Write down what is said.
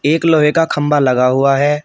एक लोहे का खंबा लगा हुआ है।